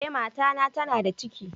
Eh, mata na tana da ciki.